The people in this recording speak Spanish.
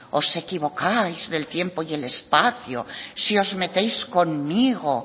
os equivocáis del tiempo y el espacio si os metéis conmigo